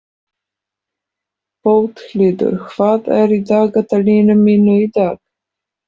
Bóthildur, hvað er í dagatalinu mínu í dag?